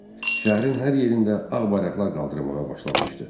Şəhərin hər yerində ağ bayraqlar qaldırmağa başlanmışdı.